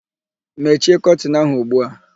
Mechie kọtịnụ áhụ̀ ugbu a!